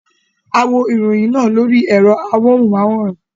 A wo ìròyìn náà lórí ẹ̀rọ amóhùnmáwòrán.